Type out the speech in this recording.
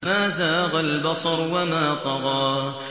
مَا زَاغَ الْبَصَرُ وَمَا طَغَىٰ